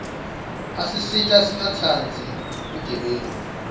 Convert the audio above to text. asisita singatsandzi bugebengu